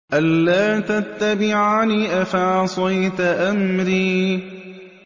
أَلَّا تَتَّبِعَنِ ۖ أَفَعَصَيْتَ أَمْرِي